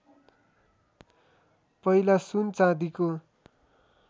पहिला सुन चाँदीको